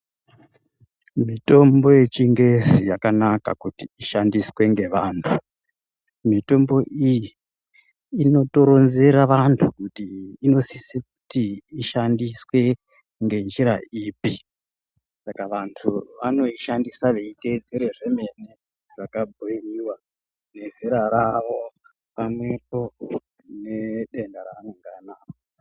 Mitombo yeChiNgezi yakanaka kuti ishandiswe ngevantu. Mitombo iyi inotoronzera vantu kuti inosise kuti ishandiswe ngenjira ipi, saka vantu vanoishandisa veiteedzere zvemene zvakabhuyiwa, nezera ravo pamwepo nedenda raanonge anaro.